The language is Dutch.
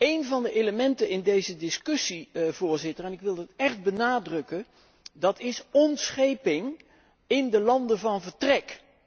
Een van de elementen in deze discussie, en ik wil dat echt benadrukken, dat is ontscheping in de landen van vertrek.